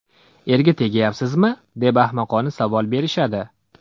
Erga tegyapsizmi, deb ahmoqona savol berishadi.